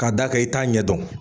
K'a da kan i t'a ɲɛ dɔn